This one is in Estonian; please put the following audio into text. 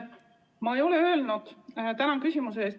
Tänan küsimuse eest!